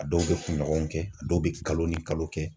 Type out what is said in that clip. A dɔw bɛ kunɲɔgɔn kɛ a dɔw bɛ kalo ni kalo kɛ.